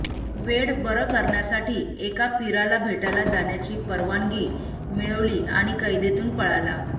वेड बरं करण्यासाठी एका पीराला भेटायला जाण्याची परवानगी मिळवली आणि कैदेतून पळाला